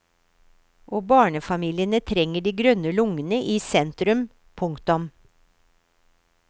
Og barnefamiliene trenger de grønne lungene i sentrum. punktum